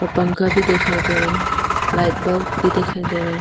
और पंखा भी दिखाई दे रहा है लाइट बल्ब भी दिखाई दे रहा है।